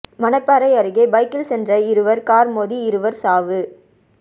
மணப்பாறை அருகே பைக்கில் சென்ற இருவா் காா் மோதி இருவா் சாவு